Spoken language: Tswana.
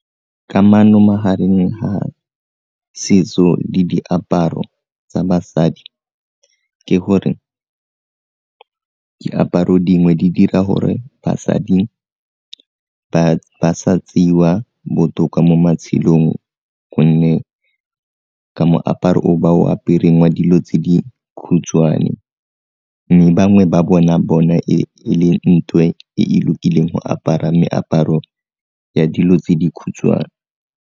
Kamano magareng ga setso le diaparo tsa basadi ke gore diaparo dingwe di dira gore basadi ba sa tseiwa botoka mo matshelong gonne ka moaparo o ba o apereng wa dilo tse dikhutshwane mme bangwe ba bona bone e le nthwe e e lokileng go apara meaparo ya dilo tse dikhutshwane.